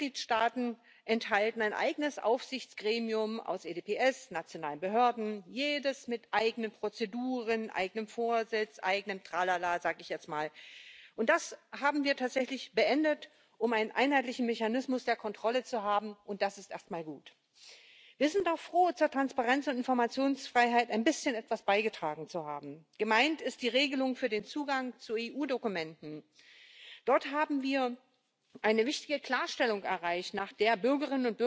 of the Charter of Fundamental Rights, it meets the operational needs of Union institutions and bodies. The legal text meets the quality of law requirement as formulated by both the Luxembourg and Strasbourg courts. The new rules will abolish unnecessary bureaucratic requirements such as, for instance, prior checks. Supervision has also been reinforced, in line with the General Data Protection Regulation.